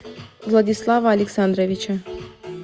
владислава александровича